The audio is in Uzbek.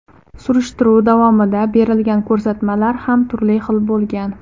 Surishtiruv davomida berilgan ko‘rsatmalar ham turli xil bo‘lgan.